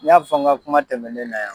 N y'a fɔ nka kuma tɛmɛnen na yan.